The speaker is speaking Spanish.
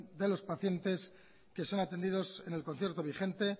de los pacientes que son atendidos en el concierto vigente